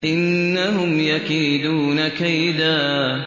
إِنَّهُمْ يَكِيدُونَ كَيْدًا